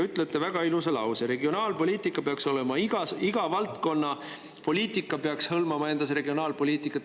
Ütlesite väga ilusa lause, et iga valdkonna poliitika peaks hõlmama endas regionaalpoliitikat.